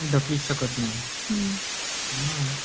ढकलूच शकत नाही.